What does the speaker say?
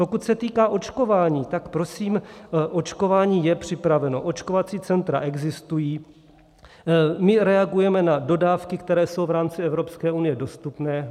Pokud se týká očkování, tak prosím, očkování je připraveno, očkovací centra existují, my reagujeme na dodávky, které jsou v rámci Evropské unie dostupné.